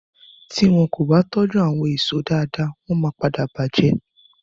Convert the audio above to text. Ti wọn kò bá tójú àwon èèso dáadáa wọ́n máa padà bàjẹ́